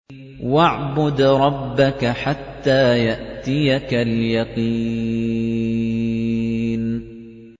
وَاعْبُدْ رَبَّكَ حَتَّىٰ يَأْتِيَكَ الْيَقِينُ